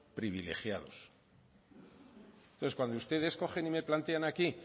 privilegiados entonces cuando ustedes cogen y me plantean aquí